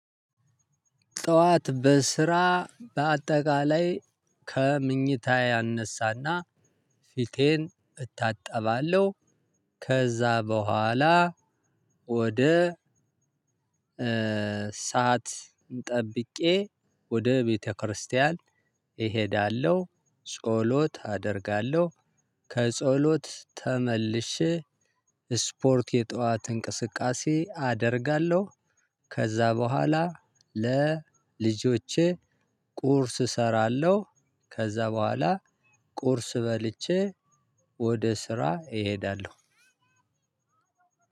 ጠዋት በስራ በአጠቃላይ ከምኝታዬ እነሳና ፊቴን እታጠባለሁ። ከዛ በኋላ ወደ ሰዓት ጠብቄ ወደ ቤተክርስቲያን እሄዳለሁ። ጸሎት አደርጋለሁ። ከጸሎት ተመልሸ ስፖርት የጠዋት እንቅስቃሴ አደርጋለሁ። ከዛ በኋላ ለልጆቼ ቁርስ እሰራለሁ። ከዛ በኋላ ቁርስ በልቼ ወደ ስራ እሄዳለሁ።